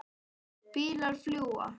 Bílar fljúga.